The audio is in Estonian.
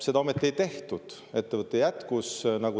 Seda ometi ei tehtud, ettevõte jätkas.